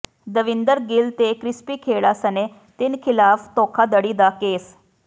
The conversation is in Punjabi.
ਦੇਵਿੰਦਰ ਗਿੱਲ ਤੇ ਕ੍ਰਿਸਪੀ ਖੇਡ਼ਾ ਸਣੇ ਤਿੰਨ ਖ਼ਿਲਾਫ਼ ਧੋਖ਼ਾਧੜੀ ਦਾ ਕੇਸ